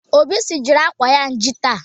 Obi sijiri akwa nji taa